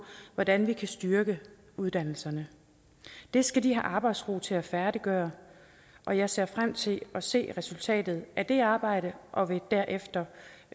hvordan vi kan styrke uddannelserne det skal de have arbejdsro til at færdiggøre og jeg ser frem til at se resultatet af det arbejde og vil derefter